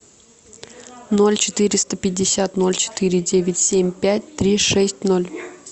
ноль четыреста пятьдесят ноль четыре девять семь пять три шесть ноль